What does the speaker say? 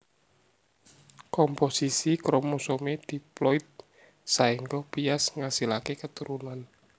Komposisi kromosomé diploid saéngga bias ngasilaké keturunan